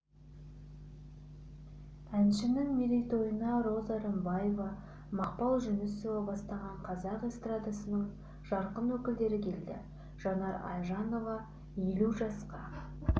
әншінің мерейтойына роза рымбаева мақпал жүнісова бастаған қазақ эстрадасының жарқын өкілдері келді жанар айжанова елу жасқа